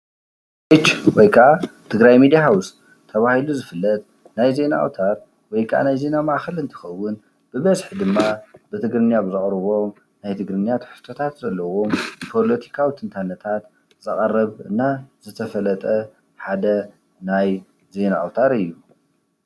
ትግራይ ሚድያ ሃውስ ተባሂሉ ዝፍለጥ ናይ ዜና ኣውታር ወይከዓ ናይ ዜና ማእከል እንትከውን ብበዝሒ ድማ ብትግርኛ ዘቅርብዎ ናይ ብትግርኛ ትሕዝቶ ዘለውዎም ፖለቲከታት ትንታነታት ትሕዝቶ ዘቅርብ እና ዝተፈለጠ ሓደ ናይ ዜና ኣውታር እዩ።